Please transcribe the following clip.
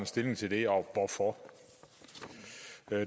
stilling til det og hvorfor